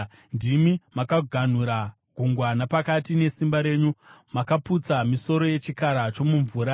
Ndimi makaganhura gungwa napakati nesimba renyu; makaputsa misoro yechikara chomumvura.